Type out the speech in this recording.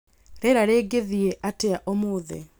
Rĩera rĩgĩthiĩ atĩa ũmũthĩ